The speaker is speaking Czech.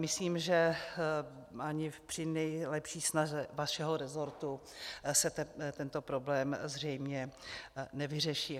Myslím, že ani při nejlepší snaze vašeho resortu se tento problém zřejmě nevyřeší.